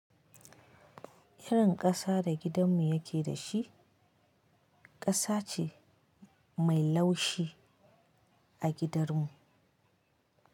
Irin ƙasa da gidanmu yake da shi, ƙasa ce mai laushi a gidanmu.